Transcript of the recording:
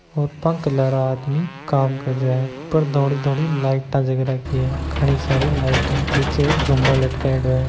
वा के लार आदमी काम करिया है ऊपर धोली धोली लाईट जग रखी हे घनी सारी लाईट नीचे एक झूमर लटकायेडो हैं।